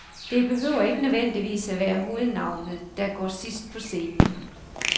Det behøver ikke nødvendigvis at være hovednavnet, der går sidst på scenen.